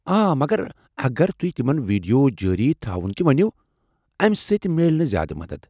آ، مگر اگر تُہۍ تِمن ویڈیو جٲری تھاوُن تہِ ؤنِو، امِہ سۭتۍ میلہِ نہٕ زیادٕ مدتھ ۔